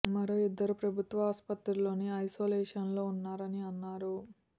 మరో ఇద్దరు ప్రభుత్వ ఆసుపత్రిలోని ఐసోలేషన్ లో ఉన్నారని అన్నారు